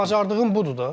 Bacardığım budur da.